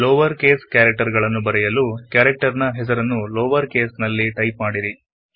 lower case character ಗಳನ್ನು ಬರೆಯಲುಹೆಸರನ್ನು lower case ನಲ್ಲಿ ಟೈಪ್ ಮಾಡಿರಿ